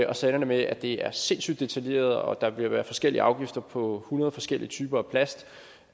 og så ender det med at det er sindssygt detaljeret og der vil være forskellige afgifter på hundrede forskellige typer af plast